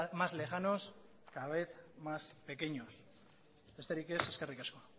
más lejanos cada vez más pequeños besterik ez eskerrik asko